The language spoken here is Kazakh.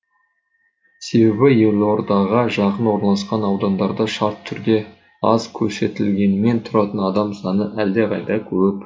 себебі елордаға жақын орналасқан аудандарда шартты түрде аз көрсетілгенімен тұратын адам саны әлдеқайда көп